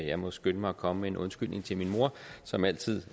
jeg må skynde mig at komme med en undskyldning til min mor som altid